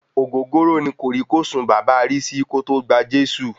Ògógóró ní kòrí-kòsùn bàba Risi kòtò gba Jésù.